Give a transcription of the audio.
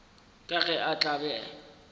ka ge a tla be